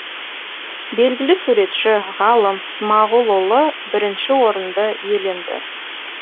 белгілі суретші ғалым смағұлұлы бірінші орынды иеленді